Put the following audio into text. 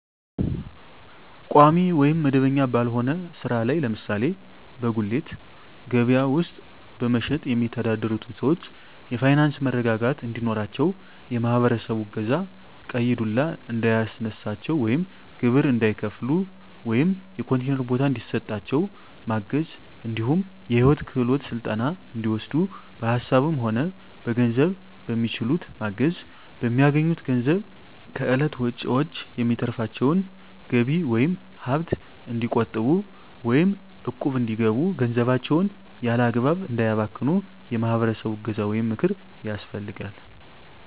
ቋሚ ወይም መደበኛ ባልሆነ ስራ ላይ ለምሳሌ በጉሌት ከበያ ውስጥ በመሸትጥ የሚተዳደሩትን ሰዎች የፋይናንስ መረጋጋት እንዲኖራቸው የማህበረሰቡ እገዛ ቀይ ዱላ እንዳያስነሳቸው ወይም ግብር እንዳይከፍሉ ወይም የኮንቲነር ቦታ እንዲሰጣቸው ማገዝ እንዲሁም የሂወት ክሄሎት ስልጠና እንዲወስዱ በሀሳብም ሆነ በገንዘብ በሚችሉት ማገዝ፣ በሚያገኙት ገንዘብ ከእለት ወጭዎች የሚተርፋቸውን ገቢ ወይም ሀብት እንዲቆጥቡ ወይም እቁብ እንዲገቡ ገንዘባቸውን ያላግባብ እንዳያባክኑ የማህበረሰቡ እገዛ ወይም ምክር ያስፈልጋል።